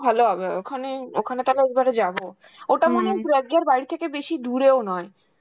ভালো হবে ওখানে, ওখানে তাহলে এইবারে যাব. ওইটা মনে হয় প্রজ্ঞার বাড়ি থেকে বেশি দূরেও নয়.